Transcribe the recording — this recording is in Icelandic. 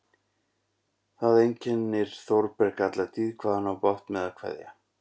Það einkennir Þórberg alla tíð hvað hann á bágt með að kveðja.